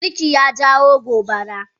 Abun girki ya jawo gobaran.